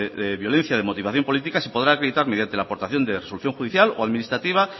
de violencia de motivación política se podrá acreditar mediante la aportación de resolución judicial o administrativa